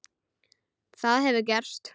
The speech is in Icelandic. Það hefur gerst.